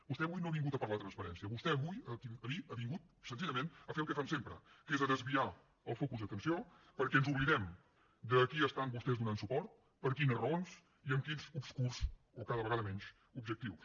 vostè avui no ha vingut a parlar de transparència vostè avui ha vingut senzillament a fer el que fan sempre que és a desviar el focus d’atenció perquè ens oblidem de a qui estan vostès donant suport per quines raons i amb quins obscurs o cada vegada menys objectius